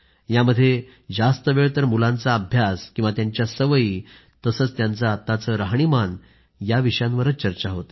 यामध्ये जास्त वेळ तर मुलांचा अभ्यास किंवा त्यांच्या सवयी तसंच त्यांचे आत्ताचे राहणीमान याविषयांवर चर्चा होते